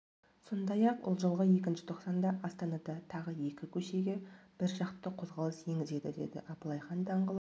сондай-ақ ол жылғы екінші тоқсанда астанада тағы екі көшеге бір жақты қозғалыс енгізеді деді аблайхан даңғылы